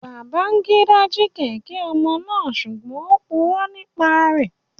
Babangida ji kẹ̀kẹ́ omo naa sugbon o puro nipa rẹ